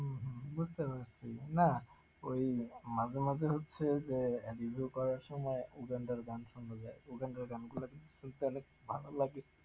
হম হম বুঝতে পারছি, না ওই মাঝে মাঝে হচ্ছে যে review করার সময় গান শোনা যায়, গান গুলো কিন্তু শুনলে অনেক ভালো লাগে,